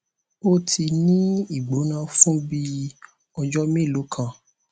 ó ti ń ní ìgbóná fún bí i ọjọ mélòó kan